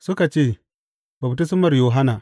Suka ce, Baftismar Yohanna.